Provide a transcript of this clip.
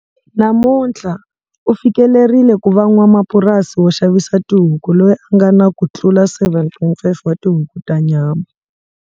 Namuntlha, u fikelerile ku va n'wamapurasi wo xavisa tihuku loyi a nga na ku tlula 7.5 wa tihuku ta nyama.